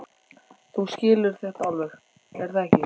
Þú skilur þetta alveg, er það ekki?